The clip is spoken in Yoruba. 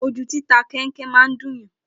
Ojú títa kẹnkẹ máa ń dúnyàn